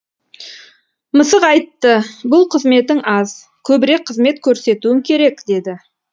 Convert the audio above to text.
мысық айтты бұл қызметің аз көбірек қызмет көрсетуің керек деді